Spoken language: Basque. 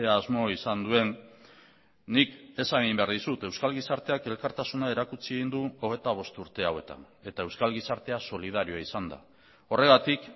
asmo izan duen nik esan egin behar dizut euskal gizarteak elkartasuna erakutsi egin du hogeita bost urte hauetan eta euskal gizartea solidarioa izan da horregatik